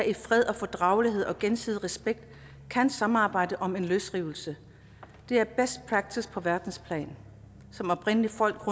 i fred og fordragelighed og gensidig respekt kan samarbejde om en løsrivelse det er best practice på verdensplan som oprindelige folk